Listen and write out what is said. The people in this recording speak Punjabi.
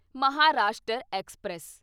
ਮਹਾਰਾਸ਼ਟਰ ਐਕਸਪ੍ਰੈਸ